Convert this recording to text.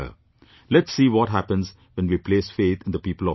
Let's see what happens when we place faith in the people of India